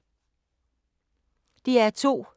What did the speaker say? DR2